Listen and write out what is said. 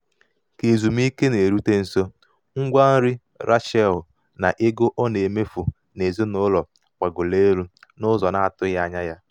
ka ezumiike na-erute nso um ngwa nri rachel na ego um ọ na-emefu ọ na-emefu n'ezinụlọ gbagoro elu n'ụzọ um na-atụghị anya ya.